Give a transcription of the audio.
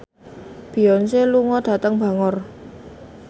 Beyonce lunga dhateng Bangor